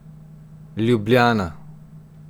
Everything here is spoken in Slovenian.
Ljubljana.